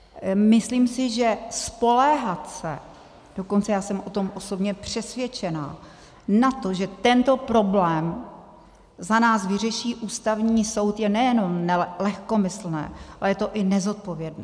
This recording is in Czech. Myslím si, že spoléhat se - dokonce já jsem o tom osobně přesvědčena - na to, že tento problém za nás vyřeší Ústavní soud, je nejenom lehkomyslné, ale je to i nezodpovědné.